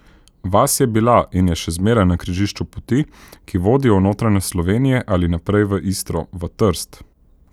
Vas je bila in je še zmeraj na križišču poti, ki vodijo v notranjost Slovenije ali naprej v Istro, v Trst.